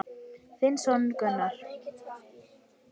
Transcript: Þinn sonur Gunnar.